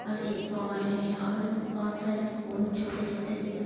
और एक है और बहुत सारे फूल छोटे छोटे दिखाई--